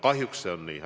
Kahjuks see on nii.